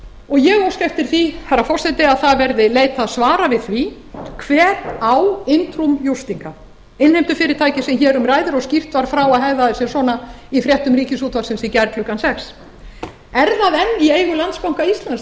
og ég óska eftir því herra forseti að það verði leitað svara við ári hver á in innheimtufyrirtæki sem hér um ræðir og skýrt var frá að hegðaði sér svona í fréttum ríkisútvarpsins í gær klukkan sjötta er það enn í eigu landsbanka íslands